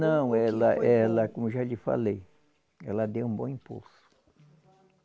Não, ela ela, como eu já lhe falei, ela deu um bom impulso.